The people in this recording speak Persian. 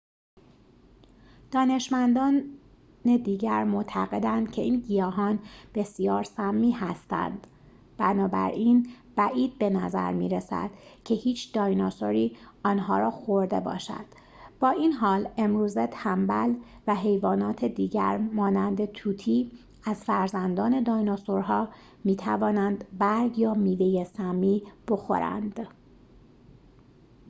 دانشمندان دیگر معتقدند که این گیاهان بسیار سمی هستند، بنابراین بعید به نظر می رسد که هیچ دایناسوری آنها را خورده باشد، با این حال امروزه تنبل و حیوانات دیگر مانند طوطی از فرزندان دایناسورها می توانند برگ یا میوه سمی بخورند